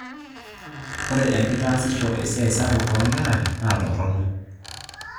Ore enkitaasisho esiai sapuk oongera naatorrono